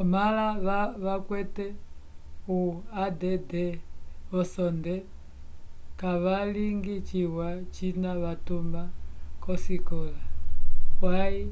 omala vacwete o add vosonde cavaligi ciwa cina vatuma cosicola pwaym